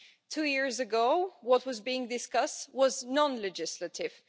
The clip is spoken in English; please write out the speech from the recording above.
Two years ago what was being discussed was non legislative